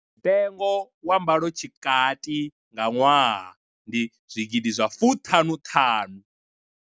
Mutengo wa mbalo tshikati nga ṅwaha ndi zwigidi zwa fuṱanuṱanu.